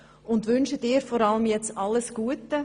Wir wünschen dir alles Gute.